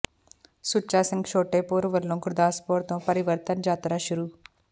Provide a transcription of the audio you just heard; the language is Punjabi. ਸੁੱਚਾ ਸਿੰਘ ਛੋਟੇਪੁਰ ਵੱਲੋਂ ਗੁਰਦਾਸਪੁਰ ਤੋਂ ਪਰਿਵਰਤਨ ਯਾਤਰਾ ਸ਼ੁਰੂ